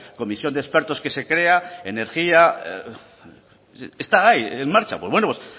comisión de expertos que se crea energía está ahí en marcha pues bueno